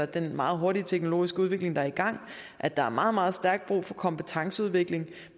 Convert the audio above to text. den meget hurtige teknologiske udvikling der er i gang at der er meget meget stærkt brug for kompetenceudvikling